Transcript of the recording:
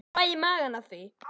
Ég fæ í magann af því.